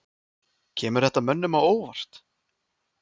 Kemur þetta mönnum á óvart?